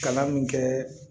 Kalan min kɛ